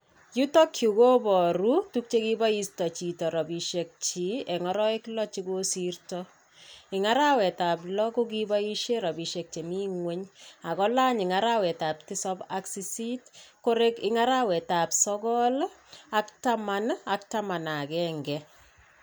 youtak yu kobaruu tuk chebaista chito rabishek chi eng arawek loo chegigosirto, eng arawet ab loo kokibaishe che mii ngweny ago lany eng arawet ab tisap ak sisit koreg eng arawet ab sogol ak taman ak taman ak agenge.